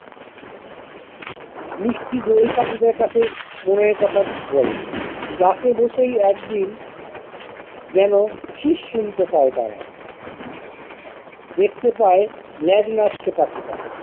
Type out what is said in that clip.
মিষ্টি দোয়েল পাখিটার কাছে মনের কথা বলে। class এ বসেই একদিন যেনো শীষ শুনতে পায় তারা দেখতে পায় ল্যাজ নাড়ছে পাখিটা।